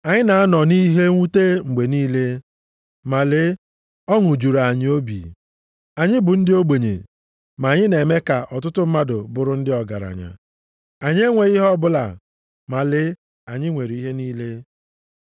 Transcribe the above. Anyị na-anọ nʼihe mwute mgbe niile, ma lee ọṅụ juru anyị obi. Anyị bụ ndị ogbenye, ma anyị na-eme ka ọtụtụ mmadụ bụrụ ndị ọgaranya. Anyị enweghị ihe ọbụla, ma lee anyị nwere ihe niile.